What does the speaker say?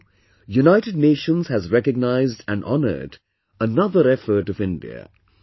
Now, United Nations has recognized and honored another effort of India